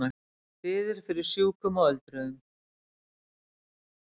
Biður fyrir sjúkum og öldruðum